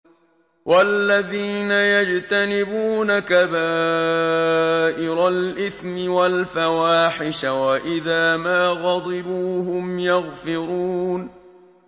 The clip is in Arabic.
وَالَّذِينَ يَجْتَنِبُونَ كَبَائِرَ الْإِثْمِ وَالْفَوَاحِشَ وَإِذَا مَا غَضِبُوا هُمْ يَغْفِرُونَ